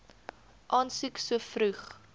aansoek so vroeg